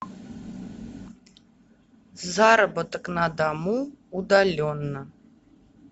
заработок на дому удаленно